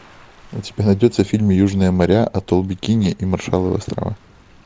у тебя найдется фильм южные моря атолл бикини и маршалловы острова